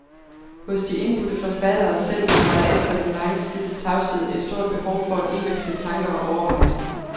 Hos de indbudte forfattere selv var der efter den lange tids tavshed et stort behov for at udveksle tanker og overvejelser.